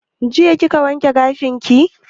Jiya kika wanke gashin ki?